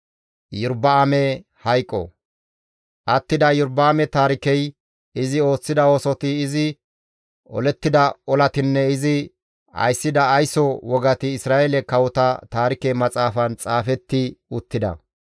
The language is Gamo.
Attida Iyorba7aame taarikey, izi ooththida oosoti, izi olettida olatinne izi ayssida ayso wogati Isra7eele kawota Taarike Maxaafan xaafetti uttida.